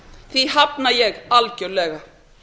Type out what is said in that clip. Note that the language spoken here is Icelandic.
því hafna ég algjörlega